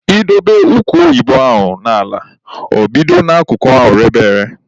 I dobe ụkwa oyibo ahụ n'ala, ọ bido n'akụkụ ahụ rebe ere.